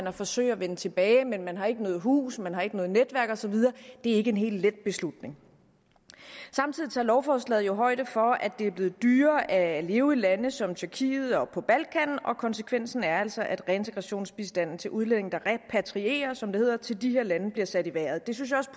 at forsøge at vende tilbage men man har ikke noget hus man har ikke noget netværk og så videre det er ikke en helt let beslutning samtidig tager lovforslaget jo højde for at det er blevet dyrere at leve i lande som tyrkiet og på balkan og konsekvensen er altså at reintegrationsbistanden til udlændinge der repatrierer som det hedder til de her lande bliver sat i vejret det synes jeg også